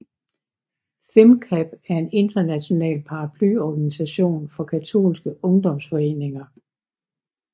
Fimcap er en international paraplyorganisation for katolske ungdomsforeninger